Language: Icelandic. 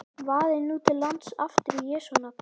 Vaðið nú til lands aftur í Jesú nafni.